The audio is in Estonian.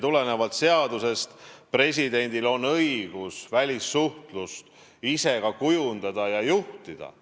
Tulenevalt seadusest on presidendil õigus välissuhtlust ise kujundada ja juhtida.